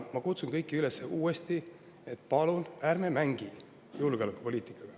Ma kutsun kõiki uuesti üles, et palun ärme mängime julgeolekupoliitikaga.